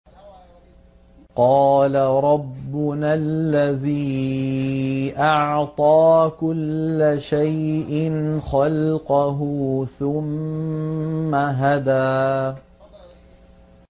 قَالَ رَبُّنَا الَّذِي أَعْطَىٰ كُلَّ شَيْءٍ خَلْقَهُ ثُمَّ هَدَىٰ